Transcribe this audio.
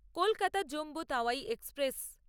Kolkata Jammu Tawi express